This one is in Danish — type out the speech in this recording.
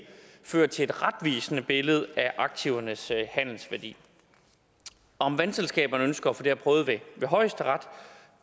fører til et retvisende billede af aktivernes handelsværdi om vandselskaberne ønsker at få det her prøvet ved højesteret